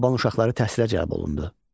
Alban uşaqları təhsilə cəlb olundu.